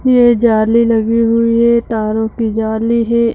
ये जाली लगी हुई है तारों की जाली है ।